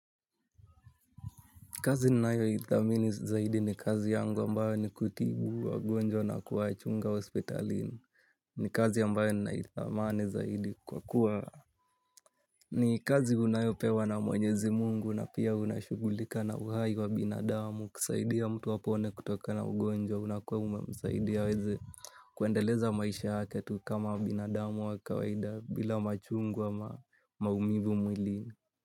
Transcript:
Kazi ninayo ithamini zaidi ni kazi yangu ambayo ni kutibu wagonjwa na kuwachunga hospitalini ni kazi ambayo naithamani zaidi kwa kuwa ni kazi unayopewa na mwenyezi mungu na pia unashugulika na uhai wa binadamu kusaidia mtu apone kutoka na ugonjwa unakua umemsaidia ili aweze kuendeleza maisha yake tu kama binadamu wa kawaida bila machungu ama maumivu mwilini.